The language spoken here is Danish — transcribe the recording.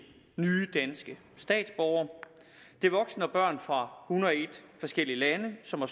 nye danske statsborgere det er voksne og børn fra hundrede og en forskellige lande som har